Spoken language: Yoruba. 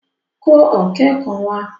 Kó ọ̀ké kan wá!